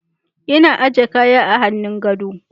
Ina aje kaya a hannun gado.